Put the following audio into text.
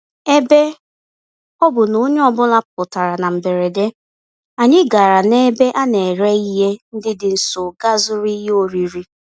Ebe ọ bụ na onye ọ bụla pụtara na mberede, anyị gàrà n'ebe a nere ihe ndị dị nso gaa zụrụ ihe oriri